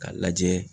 K'a lajɛ